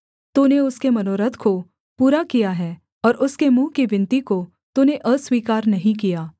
तूने उसके मनोरथ को पूरा किया है और उसके मुँह की विनती को तूने अस्वीकार नहीं किया सेला